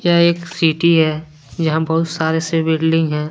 यह एक सिटी है यहां बहुत सारे बिल्डिंग है।